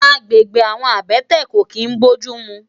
Àgbégbé àwòn àbètè kó kin bójùmú